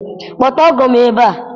Kpọta ọgọ m ebe a!